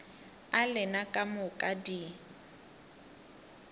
a lena ka moka di